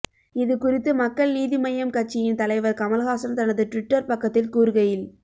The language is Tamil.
இதுகுறித்து மக்கள் நீதி மய்யம் கட்சியின் தலைவர் கமல்ஹாசன் தனது டுவிட்டர் பக்கத்தில் கூறுகையில்